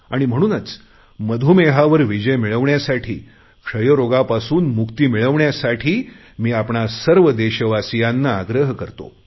आणि म्हणून मधुमेहावर विजय मिळवण्यासाठी क्षयरोगापासून मुक्ती मिळवण्यासाठी मी आपण सर्व देशवासियांना आग्रह करतो